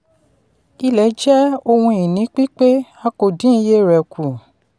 ilẹ̀ jẹ́ ohun-ìní pípé a kò dín iye rẹ̀ kù.